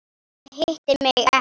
Eða hitti mig ekki.